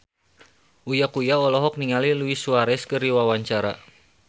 Uya Kuya olohok ningali Luis Suarez keur diwawancara